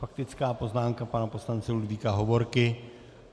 Faktická poznámka pana poslance Ludvíka Hovorky.